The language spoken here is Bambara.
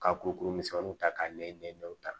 Ka kurukuru misɛmaninw ta k'a ɲɛw ta